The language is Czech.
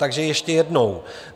Takže ještě jednou.